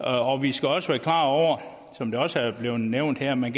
om vi skal også være klar over som det også er blevet nævnt her at man